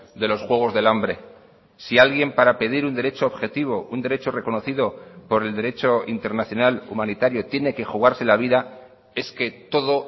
de los juegos del hambre si alguien para pedir un derecho objetivo un derecho reconocido por el derecho internacional humanitario tiene que jugarse la vida es que todo